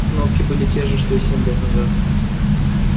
кнопки были те же что и семь лет назад